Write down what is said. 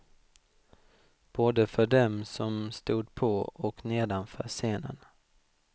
Både för dem som stod på och nedanför scenen.